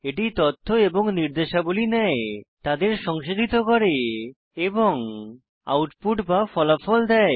এটি তথ্য এবং নির্দেশাবলী নেয় তাদের সংসাধিত করে এবং আউটপুট বা ফলাফল দেয়